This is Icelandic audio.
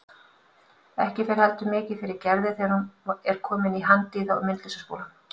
Ekki fer heldur mikið fyrir Gerði þegar hún er komin í Handíða- og myndlistaskólann.